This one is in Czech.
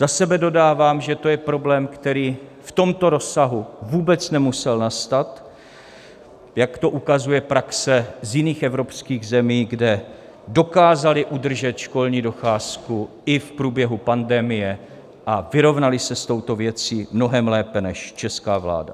Za sebe dodávám, že to je problém, který v tomto rozsahu vůbec nemusel nastat, jak to ukazuje praxe z jiných evropských zemí, kde dokázali udržet školní docházku i v průběhu pandemie a vyrovnali se s touto věcí mnohem lépe než česká vláda.